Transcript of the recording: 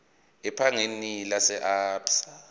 ebhange lase absa